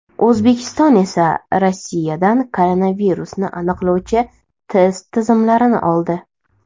O‘zbekiston esa Rossiyadan koronavirusni aniqlovchi test tizimlarini oldi .